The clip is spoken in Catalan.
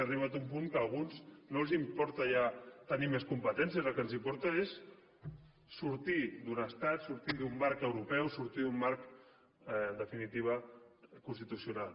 ha arribat un punt que a alguns no els importa ja tenir més competències el que els importa és sortir d’un estat sortir d’un marc europeu sortir d’un marc en definitiva constitucional